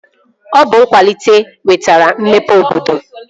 Ọ bụ nkwalite wetara mmepe obodo